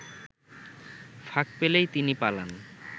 ফাঁক পেলেই তিনি পালান